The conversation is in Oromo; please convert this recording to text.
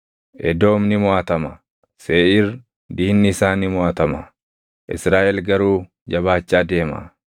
Edoom ni moʼatama; Seeʼiir, diinni isaa ni moʼatama; Israaʼel garuu jabaachaa deema.